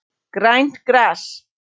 Grænt gras.